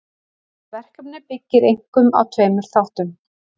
Þetta verkefni byggir einkum á tveimur þáttum.